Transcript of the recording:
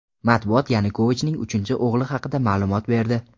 Matbuot Yanukovichning uchinchi o‘g‘li haqida ma’lumot berdi.